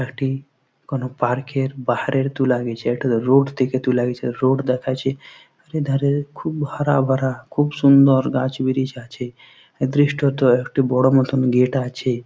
একটি কোনো পার্ক -এর বাহারের তুলা গেছে। এটাতে রোড থেকে তুলা গেছে রোড দেখাচ্ছে আর এধারে খুব হারাভারা খুব সুন্দর গাছ ব্রিচ আছে। এ দৃশ্যট একটি বড় মতন গেট আছে।